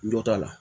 Dɔ t'a la